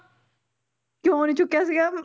ਕਿਉਂ ਨੀ ਚੁੱਕਿਆ ਸੀਗਾ